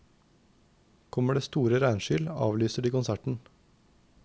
Kommer det store regnskyll, avlyser de konserten.